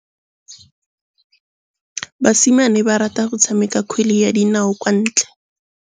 Basimane ba rata go tshameka kgwele ya dinaô kwa ntle.